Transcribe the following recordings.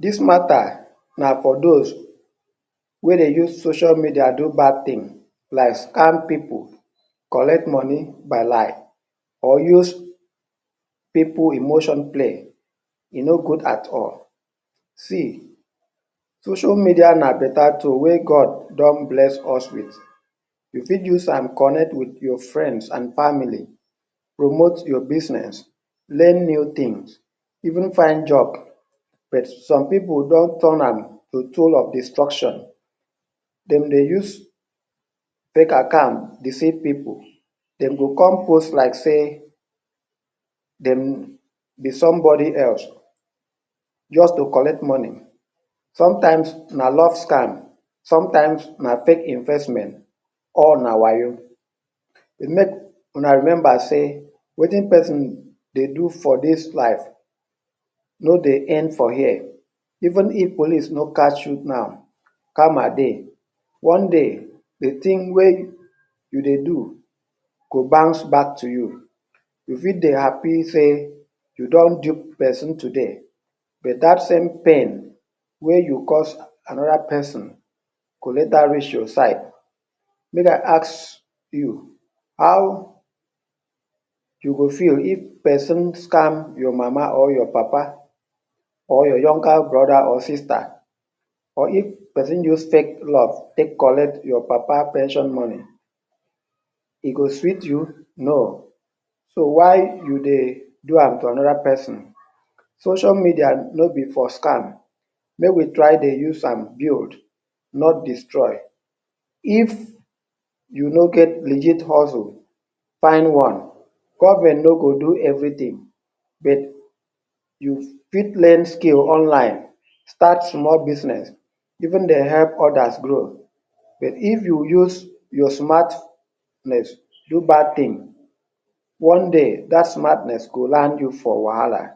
Dis matter na for those wey dey use social media do bad thing like scam pipu, collect money by lie or use pipu emotion play. E no good at all. See social media na better tool wey God don bless us wit. You fit use am connect wit your friends and family, promote your business, learn new things, even find job but some pipu don turn am to tool of destruction. Dem dey use fake account deceive pipu. Dem go come post like sey dem be somebody else just to collect money. Sometimes na love scam, sometimes na fake investment; all na wayo. Make una remember sey wetin person dey do for dis life no dey end for here, even if police no catch you now, karma dey. One day de thing wey you dey do go bounce back to you. You fit dey happy sey you don dupe person today but dat same pain wey you cause another person go later reach your side. Make I ask you; how you go feel if person scam your mama or your papa or your younger brother or sister?. Or if person use fake love take collect your papa pension money, e go sweet you? No. So why you dey do am to another person. Social media no be for scam, make we try dey use am build, not destroy. If you no get legit hustle find one, government no go do everything. You fit learn skill online, find small business even dey help others grow. But if you use your smartness do bad thing, one day dat smartness go land you for wahala.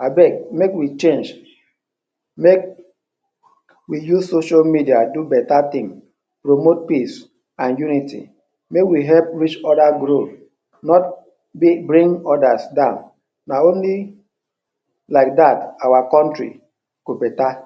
Abeg make we change, make we use social media do better thing, promote peace and unity. Make we help each other grow not bring others down, na only like dat our country go better.